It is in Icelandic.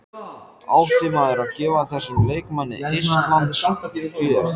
Átti maður að gefa þessum leikmanni eistlands gjöf?